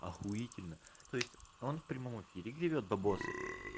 ахуительно то есть он в прямом эфире гребёт бабосы